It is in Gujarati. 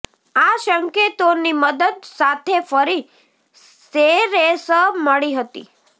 આ સંકેતો ની મદદ સાથે ફરી સેરેસ મળી હતી